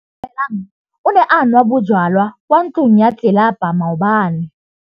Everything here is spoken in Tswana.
Atamelang o ne a nwa bojwala kwa ntlong ya tlelapa maobane.